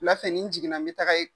Wula fɛ ni n jiginna n bɛ taga yen.